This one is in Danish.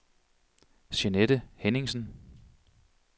Jeanette Henningsen